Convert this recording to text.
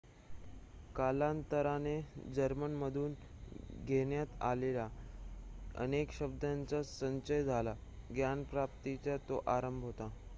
कालांतराने जर्मनमधून घेण्यात आलेल्या अनेक शब्दांचा संचय झाला ज्ञानप्राप्तीचा तो आरंभ होता